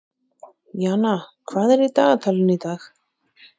Jana, hvað er í dagatalinu í dag?